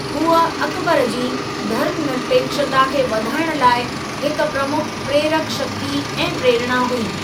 हूअ अकबर जी धर्मनिरपेक्षता खे वधाइण लाइ हिक प्रमुख प्रेरक शक्ति ऐं प्रेरणा हुई।